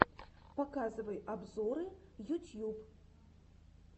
показывай обзоры ютьюб